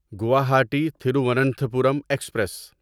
Guwahati Thiruvananthapuram express